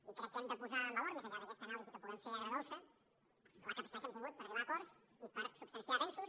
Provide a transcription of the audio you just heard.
i crec que hem de posar en valor més enllà d’aquesta anàlisi que puguem fer agredolça la capacitat que hem tingut per arribar a acords i per substanciar avenços